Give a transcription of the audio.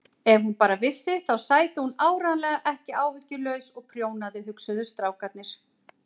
Ef hún bara vissi þá sæti hún áreiðanlega ekki áhyggjulaus og prjónaði, hugsuðu strákarnir.